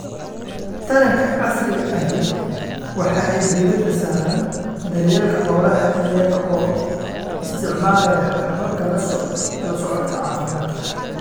Taranka casriga ahi waxa ay diiradda saaraan daryeelka xoolaha iyaga oo isticmaalaya hababka la socodka caafimaadka.